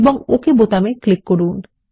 এবং okay button click করুন